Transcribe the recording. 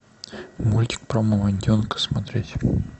мультик про мамонтенка смотреть